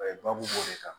babu b'o de kan